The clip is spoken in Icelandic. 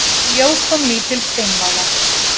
Í ljós kom lítil steinvala.